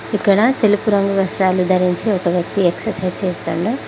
ఇక్కడ తెలుపు రంగు వస్ట్రాలు ధరించి ఒక వ్యక్తి ఎక్సర్సైజ్ చేస్తుండు.